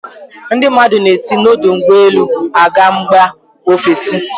Ndị mmadụ na-esi n'ọdọụgbọelu a ga mba ofesi.